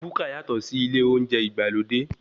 Búkà yàtọ̀ sí ilé oúnjẹ ìgbàlódé.